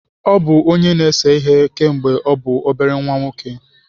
Ọ bụ onye na-ese ihe kemgbe ọ bụ obere nwa nwoke.